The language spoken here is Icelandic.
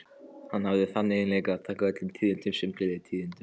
Hann hafði þann eiginleika að taka öllum tíðindum sem gleðitíðindum.